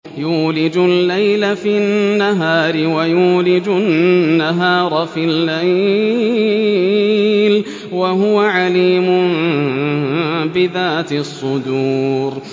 يُولِجُ اللَّيْلَ فِي النَّهَارِ وَيُولِجُ النَّهَارَ فِي اللَّيْلِ ۚ وَهُوَ عَلِيمٌ بِذَاتِ الصُّدُورِ